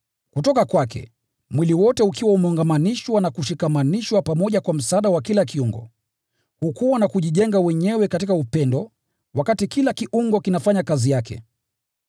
Kutoka kwake, mwili wote ukiwa umeungamanishwa na kushikamanishwa pamoja kwa msaada wa kila kiungo, hukua na kujijenga wenyewe katika upendo, wakati kila kiungo kinafanya kazi yake.